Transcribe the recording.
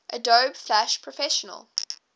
adobe flash professional